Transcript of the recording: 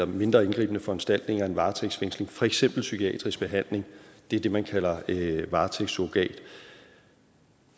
mindre indgribende foranstaltninger end varetægtsfængsling for eksempel psykiatrisk behandling det er det man kalder varetægtssurrogat og